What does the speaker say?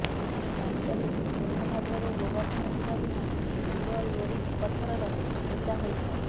ବାସ୍ତବିକ୍ ସୋନଭଦ୍ରରେ ଗୋବର୍ଦ୍ଧନ ପୂଜା ଦିନ ବୀର ଲୋରିକ ପଥରର ପୂଜା ହୋଇଥାଏ